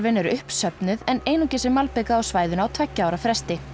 er uppsöfnuð en einungis er malbikað á svæðinu á tveggja ára fresti